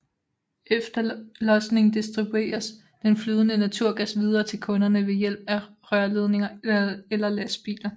Efter losningen distribueres den flydende naturgas videre til kunderne ved hjælp af rørledninger eller lastbiler